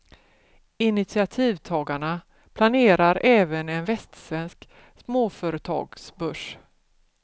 Initiativtagarna planerar även en västsvensk småföretagsbörs.